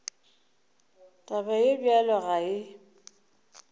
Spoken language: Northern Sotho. taba ye bjalo ga e